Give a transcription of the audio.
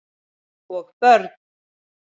Og börn.